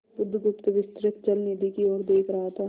बुधगुप्त विस्तृत जलनिधि की ओर देख रहा था